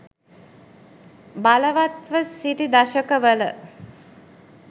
බලවත්ව සිටි දශක වල